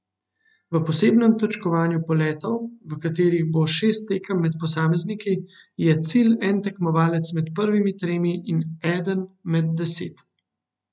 V posebnem točkovanju poletov, v katerih bo šest tekem med posamezniki, je cilj en tekmovalec med prvimi tremi in eden med deset.